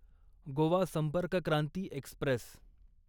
Goa Sampark Kranti Express